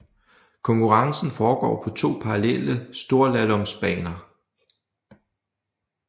Konkurrencen foregår på to parallelle storslaloms baner